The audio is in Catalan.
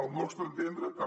al nostre entendre també